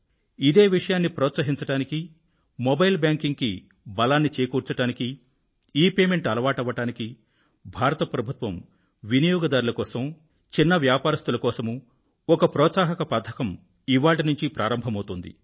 ఇదే విషయాన్ని ప్రోత్సహించడానికి మొబైల్ బ్యాంకింగ్ కు బలాన్ని చేకూర్చడానికీ ఇపేమెంట్ అలవాటవడానికీ భారత ప్రభుత్వం వినియోగదారుల కోసం మరియు చిన్న వ్యాపారస్తుల కోసమూ ఒక ప్రోత్సాహక పథకాన్ని ఇవాళ్టి నుండి ప్రారంభిస్తోంది